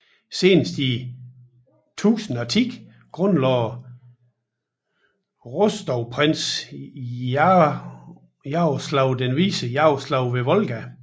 Senest i 1010 grundlagde Rostovprinsen Jaroslav den Vise Jaroslav ved Volga